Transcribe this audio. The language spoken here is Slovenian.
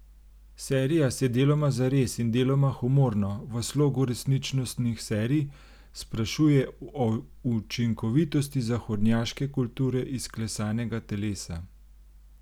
Serija se deloma zares in deloma humorno, v slogu resničnostnih serij, sprašuje o učinkovitosti zahodnjaške kulture izklesanega telesa.